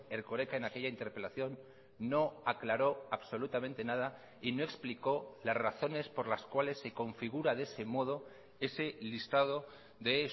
erkoreka en aquella interpelación no aclaró absolutamente nada y no explicó las razones por las cuales se configura de ese modo ese listado de